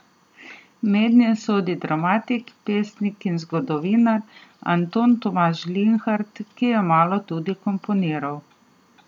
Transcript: Mednje sodi dramatik, pesnik in zgodovinar Anton Tomaž Linhart, ki je malo tudi komponiral.